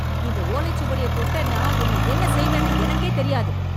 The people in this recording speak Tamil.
இந்த ஓலை சுவடிய தொட்டன்னா, உன் என்ன செய்வேன்னு எனக்கே தெரியாது.